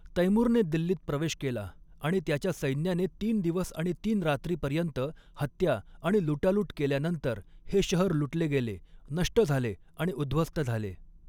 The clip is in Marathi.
तैमूरने दिल्लीत प्रवेश केला आणि त्याच्या सैन्याने तीन दिवस आणि तीन रात्रीपर्यंत हत्या आणि लुटालूट केल्यानंतर हे शहर लुटले गेले, नष्ट झाले आणि उध्वस्त झाले.